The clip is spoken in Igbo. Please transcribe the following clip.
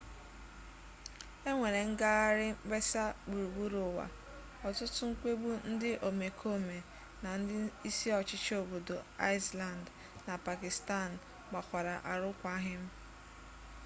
enwere ngagharị mkpesa gburugburu ụwa ọtụtụ mkpegbu ndị omekome na ndị isi ọchịchị obodo iceland na pakistan gbakwara arụkwaghịm